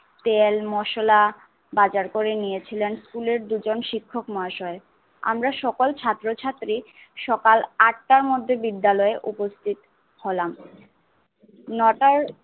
তেল মশলা বাজার করে নিয়েছিলেন স্কুলে দুইজন শিক্ষক মহাশয়। আমরা সকল ছাত্র ছাত্রী সকাল আটার মধ্যে বিদ্যালয়ে উপস্থতি হলাম ntr র